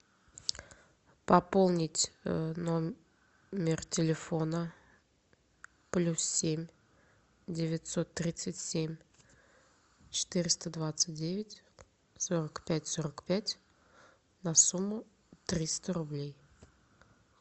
пополнить номер телефона плюс семь девятьсот тридцать семь четыреста двадцать девять сорок пять сорок пять на сумму триста рублей